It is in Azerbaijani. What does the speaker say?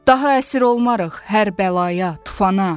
Daha əsir olmarıq hər bəlaya, tufana.